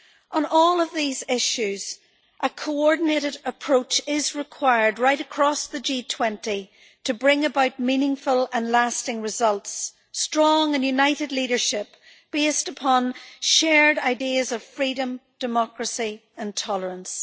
On all of these issues, a coordinated approach is required right across the G20 to bring about meaningful and lasting results strong and united leadership based upon shared ideas of freedom, democracy and tolerance.